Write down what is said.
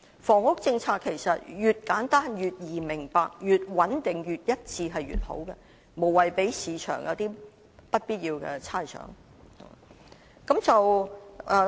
房屋政策其實越簡單、越易明白、越穩定、越一致便越好，無謂令市場有不必要的猜想。